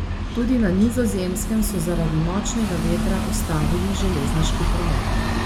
Tudi na Nizozemskem so zaradi močnega vetra ustavili železniški promet.